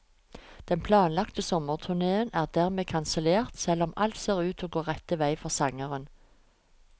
Den planlagte sommerturnéen er dermed kansellert, selv om alt ser ut til å gå rett vei for sangeren.